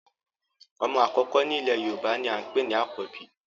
Omo akoko ni ile Yoruba ni a npe ni Akobi